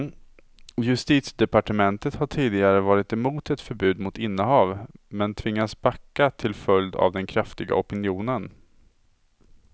Justitiedepartementet har tidigare varit emot ett förbud mot innehav, men tvingats backa till följd av den kraftiga opinionen.